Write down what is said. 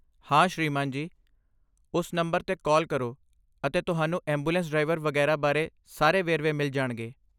ਹਾਂ, ਸ੍ਰੀਮਾਨ ਜੀ, ਉਸ ਨੰਬਰ 'ਤੇ ਕਾਲ ਕਰੋ ਅਤੇ ਤੁਹਾਨੂੰ ਐਂਬੂਲੈਂਸ ਡਰਾਈਵਰ ਵਗੈਰਾ ਬਾਰੇ ਸਾਰੇ ਵੇਰਵੇ ਮਿਲ ਜਾਣਗੇ।